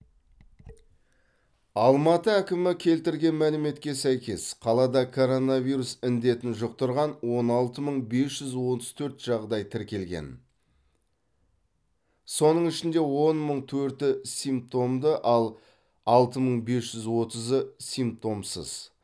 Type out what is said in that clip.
алматы әкімі келтірген мәліметке сәйкес қалада коронавирус індетін жұқтырған он алты мың бес жүз отыз төрт жағдай тіркелген соның ішінде он мың төрті симптомды ал алты мың бес жүз отызы симптомсыз